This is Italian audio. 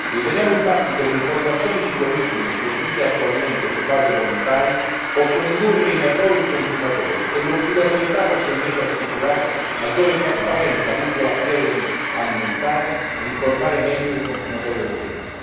Riteniamo infatti che le informazioni sull'origine, fornite attualmente su base volontaria, possano indurre in errore i consumatori e che l'obbligatorietà possa invece assicurare maggiore trasparenza lungo la filiera alimentare e informare meglio i consumatori europei.